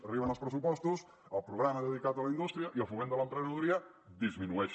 arriben els pressupostos el programa dedicat a la indústria i al foment de l’emprenedoria disminueix